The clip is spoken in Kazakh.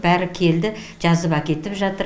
бәрі келді жазып әкетіп жатыр